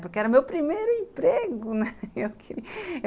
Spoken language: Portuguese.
Porque era o meu primeiro emprego, né.